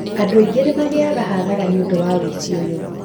Andũ aingĩ nĩ magĩaga hathara nĩ ũndũ wa ũici ũyũ.